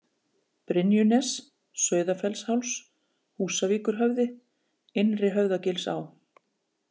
Brynjunes, Sauðafellsháls, Húsavíkurhöfði, Innri-Höfðagilsá